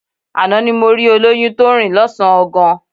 Àná ni mo rí olóyún tó ń rìn lọ́sàn-án gan